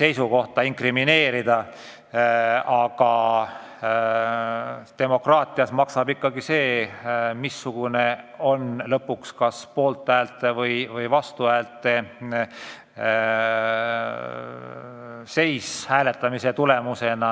seisukohta inkrimineerida, aga demokraatias maksab ikkagi see, missugune on lõpuks poolthäälte ja vastuhäälte suhe hääletamise tulemusena.